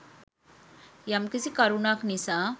යම්කිසි කරුණක් නිසා